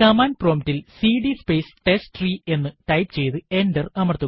command prompt ൽ CD space ടെസ്റ്റ്രീ എന്ന് ടൈപ്പ് ചെയ്ത് എന്റർ അമർത്തുക